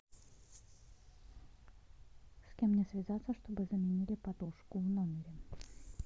с кем мне связаться чтобы заменили подушку в номере